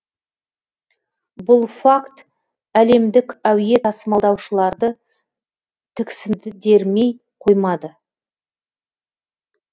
бұл факт әлемдік әуе тасымалдаушыларды тіксендермей қоймады